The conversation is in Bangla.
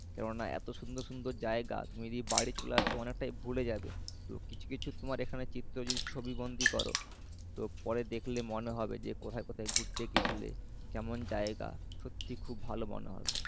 কেননা এত সুন্দর সুন্দর জায়গা তুমি যদি বাড়ি চলে আসো অনেকটাই ভুলে যাবে। তুমি এখানে কিছু কিছু যদি চিত্র ছবি বন্দী করো তো পরে দেখলে মনে হবে যে কোথায় কোথায় ঘুরতে গেছিলে। কেমন জায়গা সত্যি খুব ভালো মনে হবে।